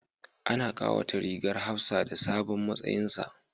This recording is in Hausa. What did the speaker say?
Ana kawata rigar hafsa da sabon matsayinsa